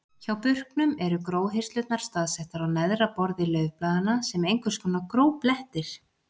Hjá burknum eru gróhirslurnar staðsettar á neðra borði laufblaðanna sem einhvers konar gróblettir.